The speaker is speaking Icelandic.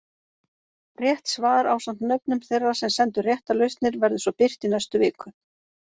Rétt svar ásamt nöfnum þeirra sem sendu réttar lausnir verður svo birt í næstu viku.